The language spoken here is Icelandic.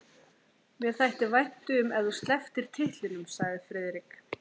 Mér þætti vænt um ef þú slepptir titlinum sagði Friðrik.